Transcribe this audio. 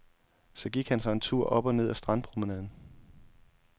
Så gik han sig en tur op og ned ad strandpromenaden.